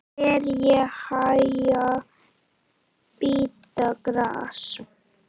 Ær í haga bíta gras.